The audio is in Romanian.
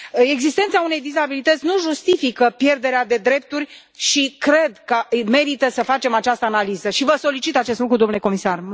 Existența unei dizabilități nu justifică pierderea de drepturi și cred că merită să facem această analiză și vă solicit acest lucru, domnule comisar.